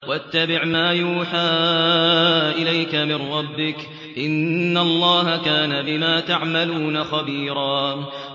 وَاتَّبِعْ مَا يُوحَىٰ إِلَيْكَ مِن رَّبِّكَ ۚ إِنَّ اللَّهَ كَانَ بِمَا تَعْمَلُونَ خَبِيرًا